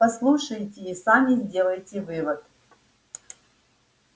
послушайте и сами сделайте вывод